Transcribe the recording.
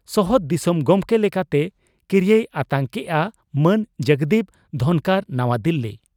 ᱥᱚᱦᱚᱫ ᱫᱤᱥᱚᱢ ᱜᱚᱢᱠᱮ ᱞᱮᱠᱟᱛᱮ ᱠᱤᱨᱤᱭᱟᱹᱭ ᱟᱛᱟᱝ ᱠᱮᱫᱼᱟ ᱢᱟᱱ ᱡᱚᱜᱽᱫᱤᱯ ᱫᱷᱚᱱᱠᱚᱨ ᱱᱟᱣᱟ ᱫᱤᱞᱤ